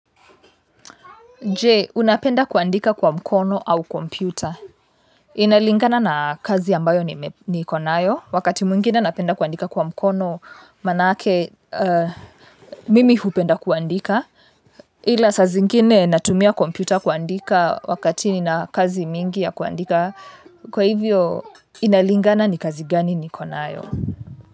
Je, unapenda kuandika kwa mkono au kompyuta. Inalingana na kazi ambayo nikonayo. Wakati mwingine napenda kuandika kwa mkono, maanake, mimi hupenda kuandika. Ila saa zingine natumia kompyuta kuandika wakati nina kazi mingi ya kuandika. Kwa hivyo, inalingana ni kazi gani ni konayo.